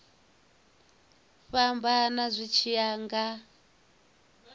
fhambana zwi tshi ya nga